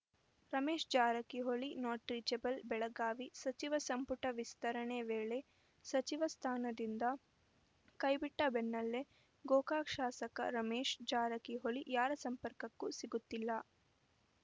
Ramesh Jarkiholi not reachable Belagavi ಸಚಿವ ಸಂಪುಟ ವಿಸ್ತರಣೆ ವೇಳೆ ಸಚಿವ ಸ್ಥಾನದಿಂದ ಕೈಬಿಟ್ಟಬೆನ್ನಲ್ಲೇ ಗೋಕಾಕ್‌ ಶಾಸಕ ರಮೇಶ ಜಾರಕಿಹೊಳಿ ಯಾರ ಸಂಪರ್ಕಕ್ಕೂ ಸಿಗುತ್ತಿಲ್ಲ